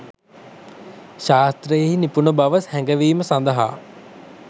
ශාස්ත්‍රයෙහි නිපුණබව හැඟවීම සඳහා